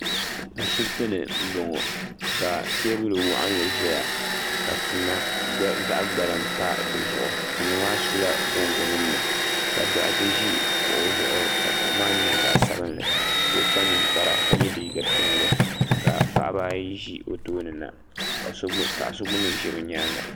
ashɛbitɛni n bɔŋɔ ka tɛbuli waɣ'li ʒɛya tima zaɣ gbaliŋ pa si zuɣ tima maa sola boŋɔ nim ni ka doɣitɛ ʒɛ kuɣ' zuɣ kuɣ' maa ka kpa nɛkpara ka yɛ liga piɛli ka pɣabaayi ʒɛ o tomi ka paɣ' so gbami ʒɛ o nyɛŋa